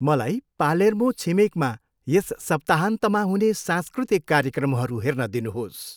मलाई पालेर्मो छिमेकमा यस सप्ताहन्तका हुने सांस्कृतिक कार्यक्रमहरू हेर्न दिनुहोस्।